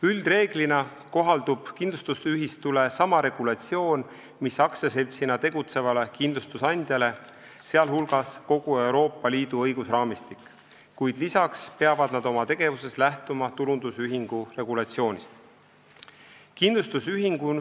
Üldreeglina kohaldub kindlustusühistule sama regulatsioon mis aktsiaseltsina tegutsevale kindlustusandjale, sh kogu Euroopa Liidu õigusraamistik, kuid lisaks peavad nad oma tegevuses lähtuma tulundusühistu regulatsioonist.